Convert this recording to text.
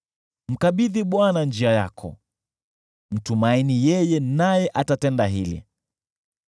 Mkabidhi Bwana njia yako, mtumaini yeye, naye atatenda hili: